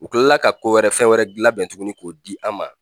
U kilala ka ko wɛrɛ fɛn wɛrɛ gilan labɛn tuguni k'o di an ma